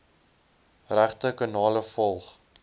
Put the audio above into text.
regte kanale volg